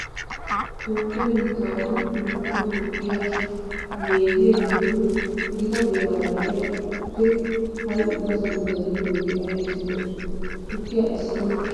Toophphiya biittaawati imattaa mokkiya neeziya giddon gita beeraara de'iya tukkee ha"i ubbasan bayzettiyogee aybissi lo"oo? Tukkiya essanawu koshshiya buqurati aybee aybee?